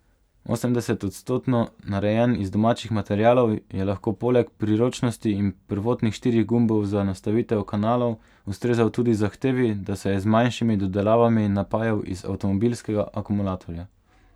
Osemdesetodstotno narejen iz domačih materialov je lahko poleg priročnosti in prvotnih štirih gumbov za nastavitev kanalov ustrezal tudi zahtevi, da se je z manjšimi dodelavami napajal iz avtomobilskega akumulatorja.